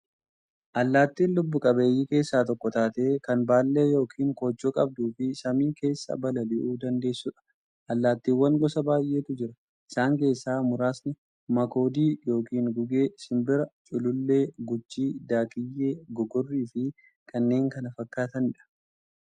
Allaattiin lubbuu qabeeyyii keessaa tokko taatee, kan baallee yookiin koochoo qabduufi samii keessaa balali'uu dandeessudha. Allaattiiwwan gosa baay'eetu jira. Isaan keessaa muraasni; makoodii yookiin gugee, simbira, culullee, guchii, daakkiyyee, gogorriifi kanneen kana fakkaatanidha.